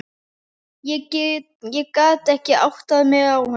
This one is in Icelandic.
Ég gat ekki áttað mig á honum.